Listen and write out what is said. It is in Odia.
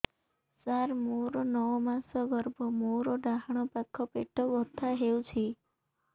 ସାର ମୋର ନଅ ମାସ ଗର୍ଭ ମୋର ଡାହାଣ ପାଖ ପେଟ ବଥା ହେଉଛି